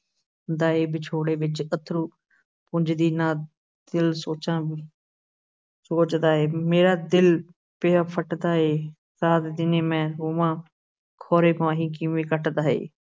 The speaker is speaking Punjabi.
ਦਾ ਹੈ ਵਿਛੋੜੇ ਵਿੱਚ ਅੱਥਰੂ ਪੂੰਝਦੀ ਦਾ ਦਿਲ ਸੋਚਾਂ ਸੋਚਦਾ ਹੈ, ਮੇਰਾ ਦਿਲ ਪਿਆ ਫਟਦਾ ਏ, ਰਾਤ ਦਿਨੇ ਮੈਂ ਰੋਵਾਂ ਖੌਰੇ ਮਾਹੀ ਕਿਵੇਂ ਕੱਟਦਾ ਏ।